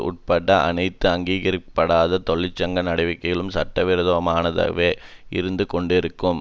உட்பட அனைத்து அங்கீகரிக்கப்படாத தொழிற்சங்க நடவடிக்கைகளும் சட்டவிரோதமானதாகவே இருந்துகொண்டிருக்கும்